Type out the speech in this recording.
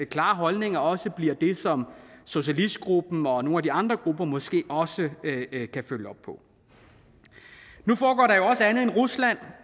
klare holdninger også bliver det som socialistgruppen og nogle af de andre grupper måske også kan følge op på nu foregår der jo også andet med rusland